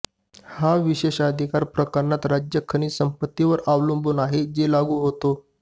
हा विशेषाधिकार प्रकरणात राज्य खनिज संपत्ती वर अवलंबून आहे जे लागू होतो